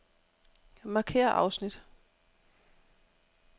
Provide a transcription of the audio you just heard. Markér afsnit.